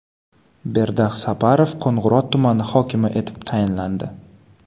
Berdax Saparov Qo‘ng‘irot tumani hokimi etib tayinlandi.